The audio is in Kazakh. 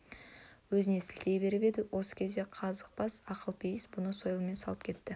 өзіне сілтей беріп еді осы кезде қызбабас ақылпейіс бұны сойылмен салып кетті